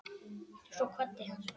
Svo kvaddi hann.